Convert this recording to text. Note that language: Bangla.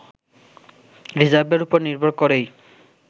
রিজার্ভের উপর নির্ভর করেই